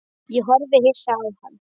Ég horfði hissa á hann.